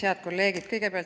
Head kolleegid!